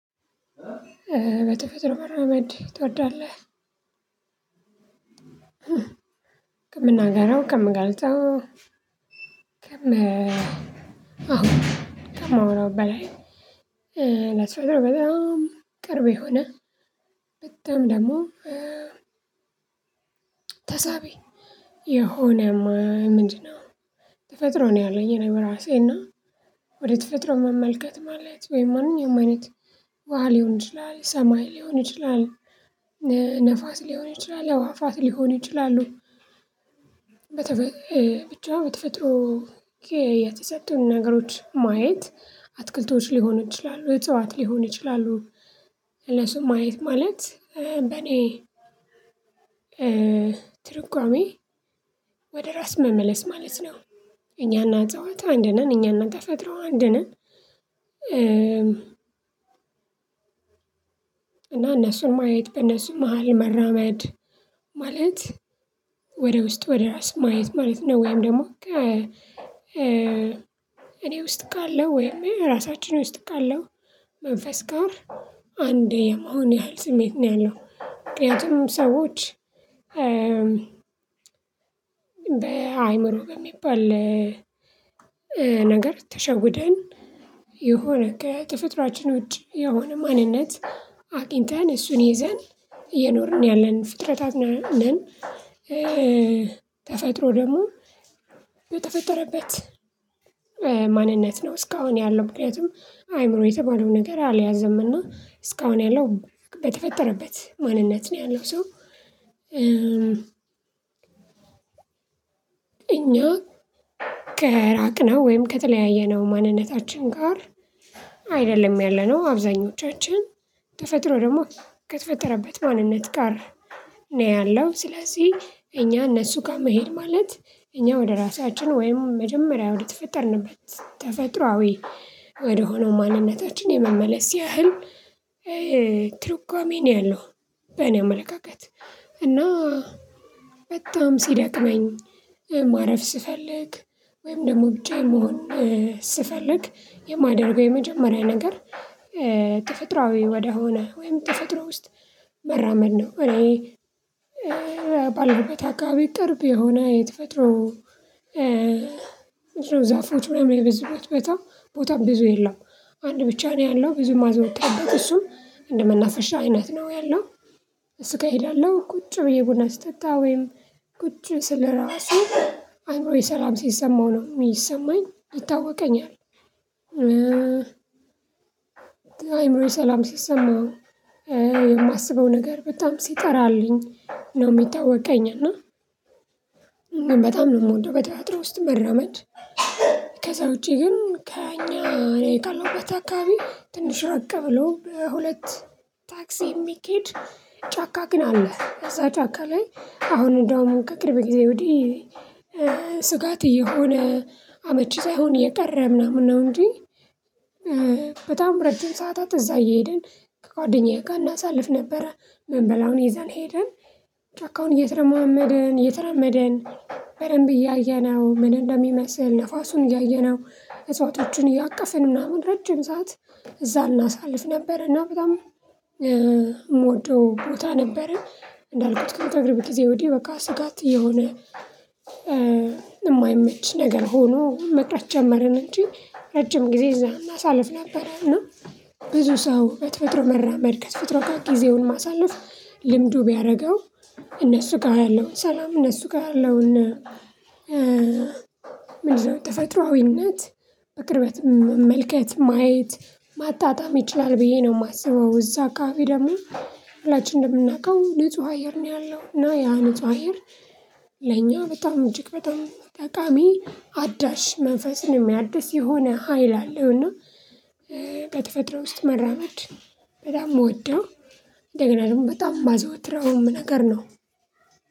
በተፈጥሮ መራመድ ትወዳለህ? ከምናገረው ከምገልጠው ከማወራው በላይ ለሰው በጣም ቅርብ የሆነ በጣም ደግሞ ተሳቢ የሆነ ምንድነው? ተፈጥሮ ነው ያለኝ የኔ ራሴ እና ወደ ተፈጥሮ መመልከት ማለት ወይም ማንኛውም አይነት ውሃ ሊሆን ይችላል ሰማይ ሊሆን ይችላል ነፋስ ሊሆን ይችላል የዋፋት ሊሆን ይችላሉ ብቻ በተፈጥሮ የተሰጡን ነገሮች ማየት አትክልቶች ሊሆን ይችላሉ እጽዋት ሊሆን ይችላሉ እነሱን ማየት ማለት በእኔ ትርጓሜ ወደ ራስ መመለስ ማለት ነው። እኛና አጽዋት አንድ ነን እኛና ተፈጥሮ አንድ ነን። እና እነሱን ማየት በእነሱ መሃል መራመድ ማለት ወደ ውስጥ ወደ ራስ ማየት ማለት ነው። ወይም ደግሞ እኔ ውስጥ ካለው ወይም ራሳችን ውስጥ ካለው መንፈስ ጋር አንዴ የመሆን ያህል ስሜት ነው ያለው። ምክንያቱም ሰዎች በአእምሮ በሚባል ነገር ተሸውደን የሆነ ከተፈጥሯችን ውጪ የሆነ ማንነት አቅንተን እሱን ይዘን የኖርን ያለን ፍጥረታት ነን። ተፈጥሮ ደግሞ በተፈጠረበት ማንነት ነው። እስካሁን ያለው ምክንያቱም አይምሮዬ የተባለው ነገር አልያዘም እና እስካሁን ያለው በተፈጠረበት ማንነት ነው ያለው ሰው። እኛ ከራቅነው ወይም ከተለያየ ነው ማንነታችን ጋር አይደለም ያለነው አብዛኞቻችን ተፈጥሮ ደግሞ ከተፈጠረበት ማንነት ጋር ነው ያለው። ስለዚህ እኛ እነሱ ጋር መሄድ ማለት እኛ ወደ ራሳችን ወይም መጀመሪያ ወደ ተፈጠርንበት ተፈጥሮአዊ ወደሆነው ማንነታችን የመመለስ ያህል ትርጓሜ ነው ያለው። በእኔ አመለካከት እና በጣም ሲደቅመኝ ማረፍ ስፈልግ ወይም ደግሞ ብቻየን መሆን ስፈልግ የማደርገው የመጀመሪያ ነገር ተፈጥሮአዊ ወደሆነ ወይም ተፈጥሮ ውስጥ መራመድ ነው። እኔ ባለሁበት አካባቢ ቅርብ የሆነ የተፈጥሮ ዛፎች ምናምን የበዝበት ቦታም ብዙ የለውም አንድ ብቻ ነው ያለው ብዙ ማዘወቅ ያለበት እሱም እንደመናፈሻ አይነት ነው ያለው። እሱ ጋር እሄዳለሁ ቁጭ ብዬ ቡና ስተታ ወይም ቁጭ ስለራሱ አንሮዬ ሰላም ሲሰማው ነው የሚሰማኝ ይታወቀኛል። አይምሮዬ ሰላም ስሰማው የማስበው ነገር በጣም ሲጠራልኝ ነው የሚታወቀኝ። እና በጣም ነው የምወደው በተፈጥሮ ውስጥ መራመድ። ከዛ ውጪ ግን ከእኛ እኔ ካለሁበት አካባቢ ትንሽ ራቀ ብሎ በሁለት ታክሲ የሚኬድ ጫካ ግን አለ ከዛ ጫካ ላይ አሁን እንደውም ከቅርብ ጊዜ ወዲህ ስጋት እየሆነ አመቺ ሳይሆን የቀረ ምናምን ነው። እንጂ በጣም ረጅም ሰዓታት እዛ እየሄድን ከጓደኛዬ ጋር እናሳልፍ ነበረ ምንበላውን ይዘን ሄደን ጫካውን እየተርማመድን እየተረመደን እያየነው ምን እንደሚመስል ንፋሱን እያየነው እጽዋቶችን እያቀፍን ምናምን ረጅም ሰዓት እዛ እናሳልፍ ነበር። እና በጣም የምወደው ቦታ ነበረ እንዳልኩት ከቅርብ ጊዜ ወዲህ በቃ ስጋት እየሆነ የማይመች ነገር ሆኖ መቅረት ጀመርን እንጂ ረጅም ጊዜ እዛ እናሳልፍ ነበር። እና ብዙ ሰው በተፈጥሮ መራመድ ከተፈጥሮ ጋር ጊዜውን ማሳለፍ ልምዱ ቢያደርገው እነሱ ጋር ያለውን ሰላም እነሱ ጋር ያለውን ያለውና ምንድነው ተፈጥሮአዊነት። በቅርበት መመልከት ማየት ማጣጣም ይችላል ብዬ ነው የማስበው እዛ አካባቢ ደግሞ ሁላችንም እንደምናውቀው ልጹህ አየር ነው ያለው እና ያ ንጹህ አየር ለኛ በጣም እጅግ በጣም ጠቃሚ አዳሽ መንፈስን የሚያድስ የሆነ ሀይል አለው። እና በተፈጥሮ ውስጥ መራመድ በጣም የምወደው እንደገና ደግሞ በጣም የማዘወትረውም ነገር ነው።